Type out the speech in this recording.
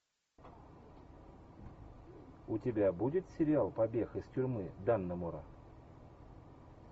у тебя будет сериал побег из тюрьмы даннемора